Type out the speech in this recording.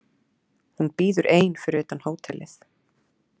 Hún bíður ein fyrir utan hótelið.